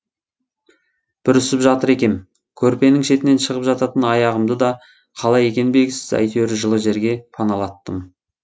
бүрісіп жатыр екем көрпенің шетінен шығып жататын аяғымды да қалай екені белгісіз әйтеуір жылы жерге паналаттым